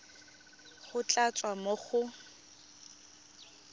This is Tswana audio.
go tla tswa mo go